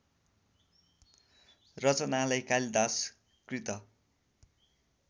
रचनालाई कालिदास कृत